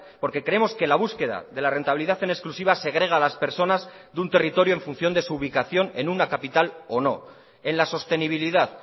porque creemos que la búsqueda de la rentabilidad en exclusiva segrega a las personas de un territorio en función de su ubicación en una capital o no en la sostenibilidad